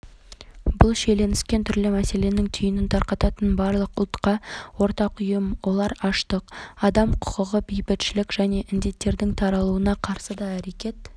ешкіммен жұдырықтаспайды деген сөздерді тоқтата аламыз ба басылымының і-рейтингінің топ каталония тұрғындарының пайызы дауыс берді ави